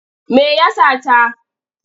Me ya sata?